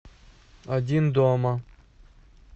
один дома